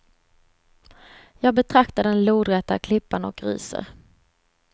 Jag betraktar den lodräta klippan och ryser.